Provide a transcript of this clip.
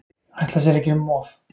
Ætla sér ekki um of.